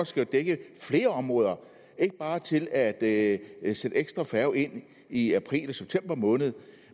skal dække flere områder ikke bare til at at sætte ekstra færger ind i april og september måned